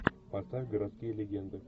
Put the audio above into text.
поставь городские легенды